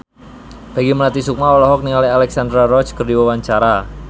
Peggy Melati Sukma olohok ningali Alexandra Roach keur diwawancara